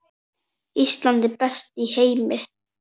Ísland, best í heimi.